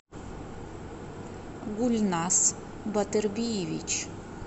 гульнас батырбиевич